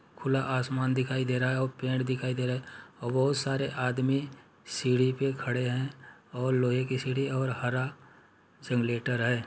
खुला आसमान दिखाई दे रहा है और पेड़ दिखाई दे रहा है बहोत सारे आदमी सीढ़ी पर खड़े हैं और लोहे की सीढ़ी और हरा जेनरेटर है।